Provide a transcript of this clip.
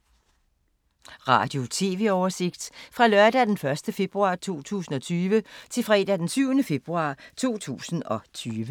Radio/TV oversigt fra lørdag d. 1. februar 2020 til fredag d. 7. februar 2020